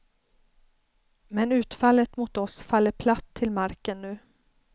Men utfallet mot oss faller platt till marken nu.